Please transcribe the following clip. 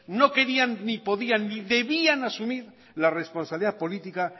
no querían ni podían ni debían asumir la responsabilidad política